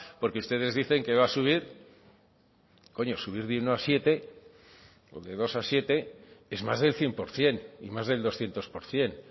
porque ustedes dicen que va a subir coño subir de uno a siete o de dos a siete es más del cien por ciento y más del doscientos por ciento